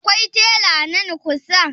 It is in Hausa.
Akwai tela nan kusa?